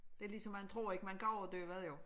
Det ligesom man tror ikke man kan overdøvede jo